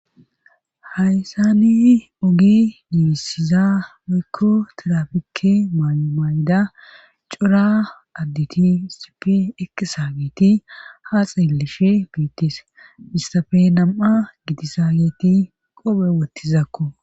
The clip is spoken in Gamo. haysani oge bisiza mekko terapikke maayumayda cora additi sipi ekisa geeti haa xeellishe biittis istafe nam7a gitisa geeti qophe woottizakko